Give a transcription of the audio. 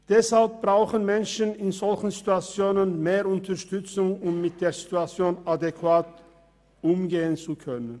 Deshalb brauchen Menschen in solchen Situationen mehr Unterstützung, um mit der Situation adäquat umgehen zu können.